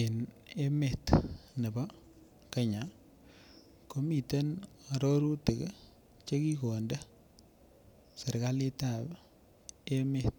En emet nepo Kenya komiten arorutik chekigonde serikalit ab emet